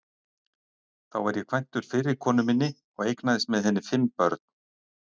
Þá var ég kvæntur fyrri konu minni og eignaðist með henni fimm börn.